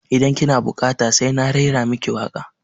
Idan ki na buƙata sai na raira maki waƙa